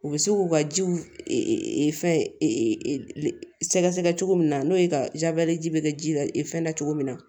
U bɛ se k'u ka jiw fɛn sɛgɛsɛgɛ cogo min na n'o ye ka ji bɛ kɛ ji la fɛn da cogo min na